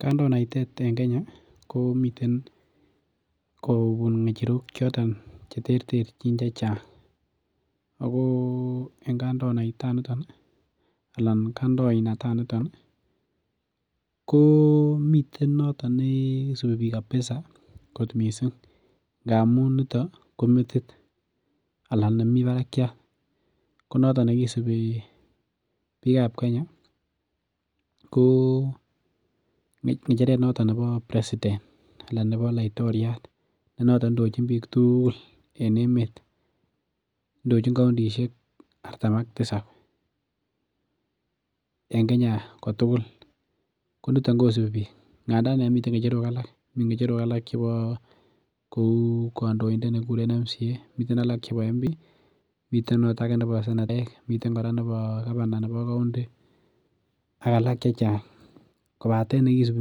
Kandoinatet en Kenya ko miten kobun ng'echerok choton chechang. Ako en kandinataniton ih ko miten noton neisubi bik [kabisa kot missing. Ngammuun nito ko metit anan nemi bakakiat ko noton neisubi bikab Kenya ko ng'echeret noton nebo president anan nebo laitoriat nenoton indochin bik tugul en emeet. Indochin kaontisiek artam ak tisab. En Kenya kotugul. Konito. Kosubi bik ngadaan miten ng'echerok alak , miten ng'echerok alak kouu kandoindet nekikuren member of county assembly, miten ng'cheretab member of parliament ih , miten akot ake nekikuren senetaek , miten kora nebo Governor nebo county ih ak alak chachang kobaten nekisubi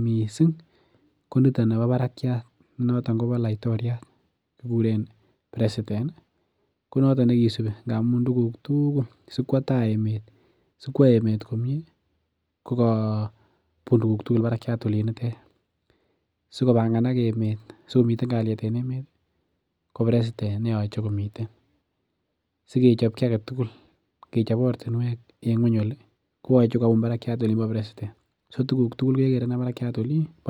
missing ko niton nebo bakakiat akobo laitoriat nekikuren president ih konaton nekisubi , ngamun tuguk tugul sikwo tai emeet, sikwo emeet komie ko kabun tuguk tugul bakakiat oliinitet, sikobanga nak emeet, sikomitan kaliet en Emmet ih ko president sikechobchi agetugul ortinuek en ng'eny oli koyache kobun barakiat Olin bo president, tuguk tugul kekere olimbo president